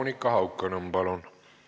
Monika Haukanõmm, palun!